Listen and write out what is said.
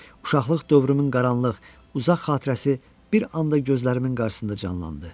Uşaqlıq dövrümün qaranlıq, uzaq xatirəsi bir anda gözlərimin qarşısında canlandı.